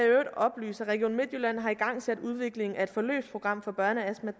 oplyse at region midtjylland har igangsat udviklingen af et forløbsprogram for børneastma